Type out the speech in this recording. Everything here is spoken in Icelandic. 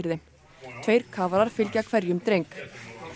þeim tveir kafarar fylgja hverjum dreng